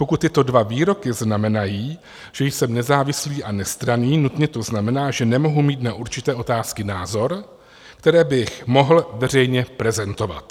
Pokud tyto dva výroky znamenají, že jsem nezávislý a nestranný, nutně to znamená, že nemohu mít na určité otázky názor, který bych mohl veřejně prezentovat.